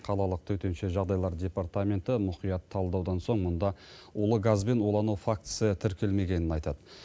қалалық төтенше жағдайлар департаменті мұқият талдаудан соң мұнда улы газбен улану фактісі тіркелмегенін айтады